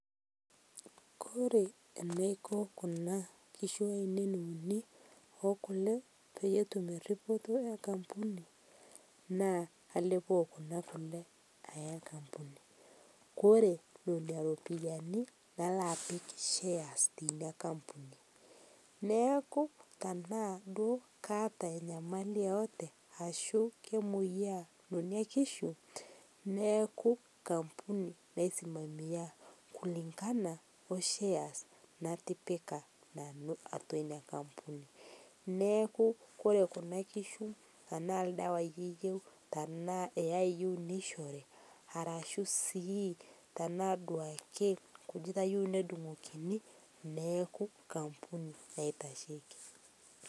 Kore Naiko Kuna kishu ainen unii ookule peyie etum eripotoo enkampuni naa kalepoo Kuna kulee ayaa kampunii Kore nenia ropiyani naloo apik shares teinia enkampuni naaku tanaa duo kaata enyamali yeyote ashuu kemoyaa nenia kishu naaku enkampuni naisimamia kulingana oo shares natipika Nanu atua inia enkampuni naaku Kore Kuna kishuu tanaaku ldawai eyeu tanaa eyai eyeu neishorii arashuu sii duake tanaa nkujita eyeu nedungokinii naaku enkampuni naitashekii